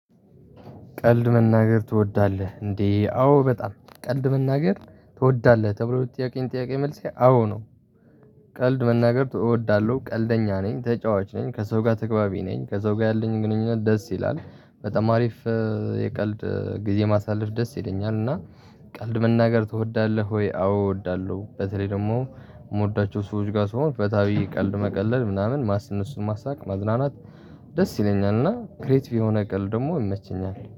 ቀልድ መናገር ትወዳለህ እንዴ? አዎ በጣም ቀልድ መናገር ትወዳለህ ተብሎ የጠያከኝን ጥያቄ መልሴ አዎ ነው። ቀልድ መናገር እወዳለሁ ቀልደኛ ነኝ ተጫዋች ነኝ። ከሰው ጋር ተገቢ ነኝ ከሰው ጋር ያለኝ ግንኙነት ደስ ይላል። በጣም አሪፍ የቀልድ ጊዜ ማሳለፍ ደስ ይለኛል። እና ቀልድ መናገር ትወዳለህ ወይ? አዎ እወዳለሁ በተለይ ደግሞ የምወዳቸው ሰዎች ጋር ስሆን ፈታ ብዬ ቀልድ መቀለድ ምናምን እነሱን ማሳቅ መዝናናት ደስ ይለኛልና። ክሬቲቭ የሆነ ቀልድ ደግሞ ይመቸኛል።